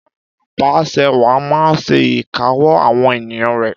Ìjoba abàsẹwàá maa n se ìkáwó àwon ènìyàn rẹ